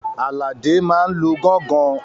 Àlàdé máa n lu gángan